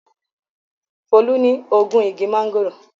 Folú ní ogún igi máńgòrò.